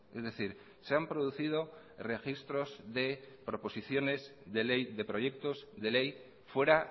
es decir se han producido registros de proposiciones de ley de proyectos de ley fuera